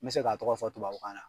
N bɛ se k'a tɔgɔ fɔ tubabu kan na.